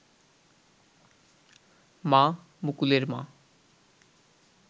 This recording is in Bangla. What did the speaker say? মা, মুকুলের মা